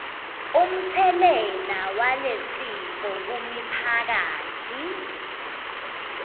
umtselela walesifo kumiphakatsi